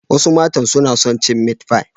Wasu matan suna son cin meat pie.